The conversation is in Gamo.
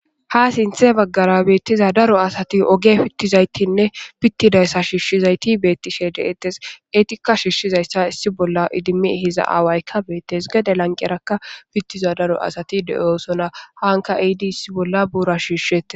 Ha sinthe bagara bettiza daro asati oge pitizaysara pitidaysa shishizayti betetes. Ettika shishizaysa issi bolla idimi ehiza awayka Bette's. Gede lanqeraka petiza daro asati de'osona. Haka ehidi issibolla shishettes.